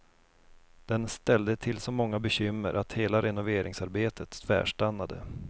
Den ställde till så många bekymmer att hela renoveringsarbetet tvärstannade.